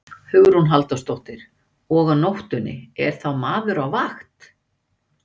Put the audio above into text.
Hugrún Halldórsdóttir: Og á nóttunni, er þá maður á vakt?